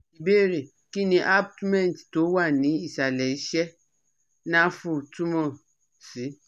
Ìbéèrè: Kí ni abutment tó wà ní ìsàlẹ̀ ìsẹ̀ naafu tumo si?